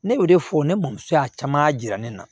Ne bɛ o de fɔ ne bamuso y'a caman yira ne na